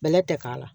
Bɛlɛ tɛ k'a la